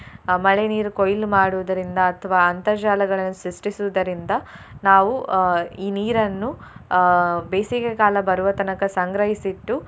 ಅಹ್ ಮಳೆ ನೀರು ಕೊಯ್ಲು ಮಾಡುವುದರಿಂದ ಅಥ್ವಾ ಅಂತರ್ಜಾಲಗಳನ್ನು ಸೃಷ್ಠಿಸುವುದರಿಂದ ನಾವು ಅಹ್ ಈ ನೀರನ್ನು ಅಹ್ ಬೇಸಿಗೆಕಾಲ ಬರುವ ತನಕ ಸಂಗ್ರಹಿಸಿಟ್ಟು.